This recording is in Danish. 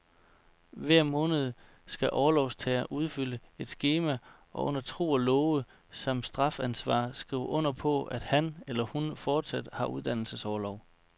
Hver måned skal orlovstageren udfylde et skema og under tro og love samt strafansvar skrive under på, at han eller hun fortsat har uddannelsesorlov.